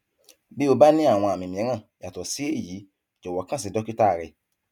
bí o bá ní àwọn àmì mìíràn yàtọ sí èyí jọwọ kàn sí dókítà rẹ